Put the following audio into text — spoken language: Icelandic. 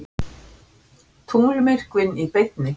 Tunglmyrkvinn í beinni